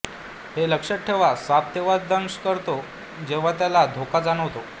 हे लक्ष्यात ठेवा साप तेव्हाच दंश करतो जेव्हा त्याला धोका जाणवतो